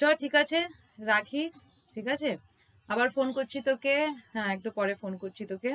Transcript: চল ঠিক আছে? রাখি? ঠিক আছে? আবার phone করছি তোকে? হ্যাঁ একটু পরে phone করছি তোকে।